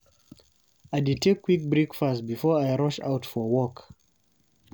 I dey take quick breakfast before I rush out for work.